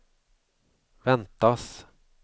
väntas